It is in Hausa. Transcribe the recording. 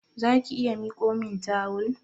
Zaki iya mikomin tawul?